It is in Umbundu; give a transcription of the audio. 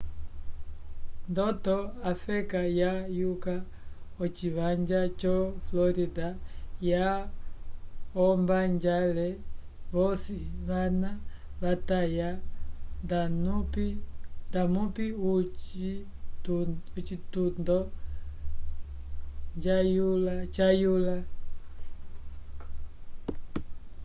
ndoto a feka yayula o civanja jo florida yaca ombajale vosi vana vatavaya damupi o citundo jayula